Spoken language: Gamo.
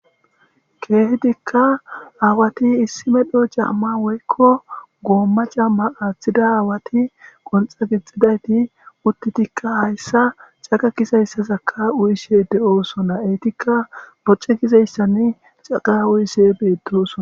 keehitikka aawati issimedho jaamma woykko goomma camma aaththida aawati qonxa gixxidayti uttitikka hayssa caqa kisayssazakka uyishe de7osona eytikka bocce gizayssan caqa uyise beettosona